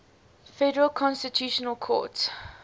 federal constitutional court